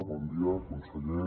bon dia conseller